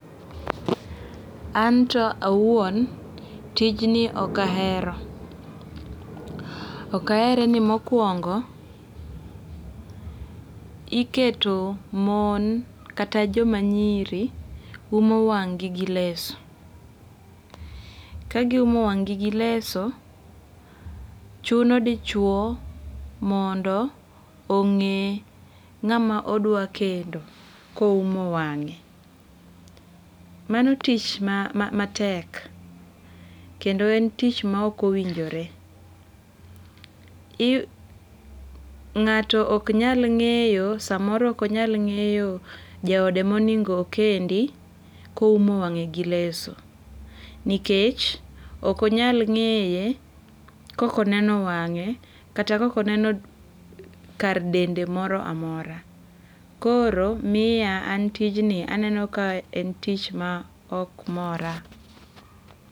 Anto awuon, tij ni ok ahero. Ok ahere ni mokuongo, iketo mon kata joma nyiri umo wang'gi gi leso. Ka giumo wang' gi gileso, chuno dichuo mondo ong'e ng'ama odwa kendo koumo wang'e. Mano tich ma matek. Kendo en tich maok owinjore. Ng'ato ok nyal ng'eyo samoro ok onyal ng'eyo jaode monego okendi koumo wang'e gi leso nikech ok on yal ng'eye kok oneno wang'e kata kok oneno kar dende moro amora. Koro miya an tijni aneno ka en tich maok mora.